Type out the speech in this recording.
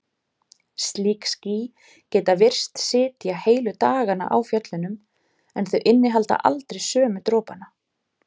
Slík ský geta virst sitja heilu dagana á fjöllunum en þau innihalda aldrei sömu dropana.